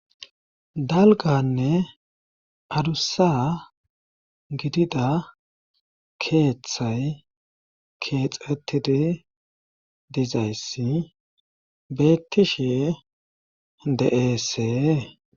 Dalganne adussa gidida keeththay keexetidi dizayssi bettishe de7eesee.